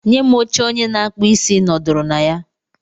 Bunye m oche onye na-akpụ isí ị nọdụrụ na ya.